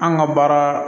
An ka baara